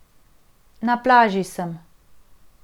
Na plaži sem.